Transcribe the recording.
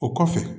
O kɔfɛ